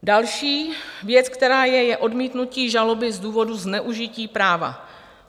Další věc, která je, je odmítnutí žaloby z důvodů zneužití práva.